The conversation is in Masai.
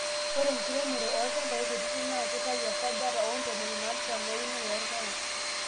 ore enkiremore olnchampai kutitik naa kitayu esajata oo ntomoni naapishana eunore oorpaek